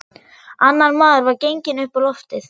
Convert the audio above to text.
Annar maður var genginn upp á loftið.